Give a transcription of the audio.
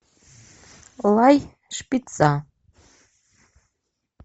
лай шпица